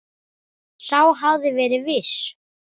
Sá hafði verið viss!